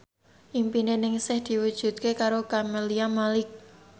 impine Ningsih diwujudke karo Camelia Malik